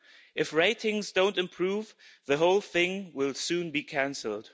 If ratings don't improve, the whole thing will soon be cancelled.